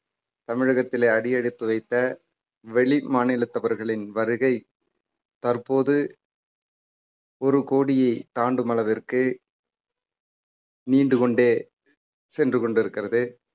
தமிழகத்திலே அடியெடுத்து வைத்த வெளிமாநிலத்தவர்களின் வருகை தற்போது ஒரு கோடியே தாண்டும் அளவிற்கு நீண்டு கொண்டே சென்று கொண்டிருக்கிறது